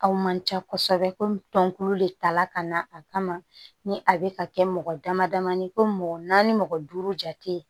Aw man ca kosɛbɛ komi tɔnkolo de ta la ka na a kama ni a bɛ ka kɛ mɔgɔ dama damani ye ko mɔgɔ naani mɔgɔ duuru jate